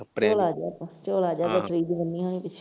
ਕੱਪੜੇ ਝੋਲਾ ਜਿਹਾ ਤਾ ਝੋਲਾ ਜਿਹਾ ਗੱਠੜੀ ਚ ਬੰਨ੍ਹਿਆ ਹੋਣਾ ਸੀ।